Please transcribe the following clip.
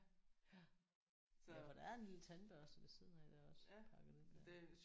Ja for der er en lille tandbørste ved siden af der også pakket ind der